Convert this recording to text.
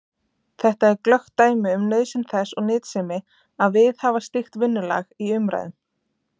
Þetta er glöggt dæmi um nauðsyn þess og nytsemi að viðhafa slíkt vinnulag í umræðum.